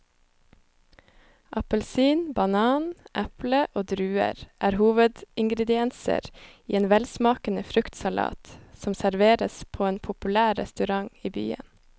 Appelsin, banan, eple og druer er hovedingredienser i en velsmakende fruktsalat som serveres på en populær restaurant i byen.